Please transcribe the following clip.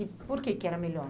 E por que que era melhor?